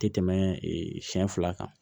Tɛ tɛmɛ siɲɛ fila kan